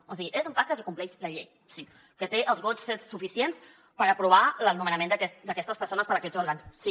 o sigui és un pacte que compleix la llei sí que té els vots suficients per aprovar el nomenament d’aquestes persones per a aquests òrgans sí